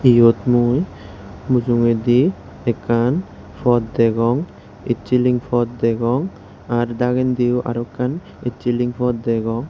yot mui mujongedi ekkan pot degong essyling pot degong ar dagendiyo aro ekkan essyling pot degong.